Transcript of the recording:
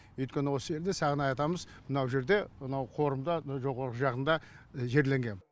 өйткені осы елде сағынай атамыз мына жерде мынау қорымда мынау жоғары жағында жерленген